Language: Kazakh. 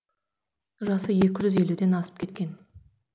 жасы екі жүз елуден асып кеткен